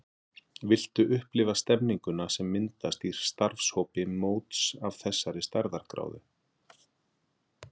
Viltu upplifa stemmninguna sem myndast í starfshópi móts af þessari stærðargráðu?